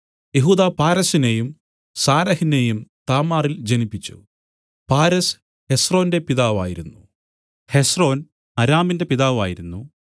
യെഹൂദാ പാരെസിനെയും സാരഹിനേയും താമാറിൽ ജനിപ്പിച്ചു പാരെസ് ഹെസ്രോന്റെ പിതാവായിരുന്നു ഹെസ്രോൻ ആരാമിന്റെ പിതാവായിരുന്നു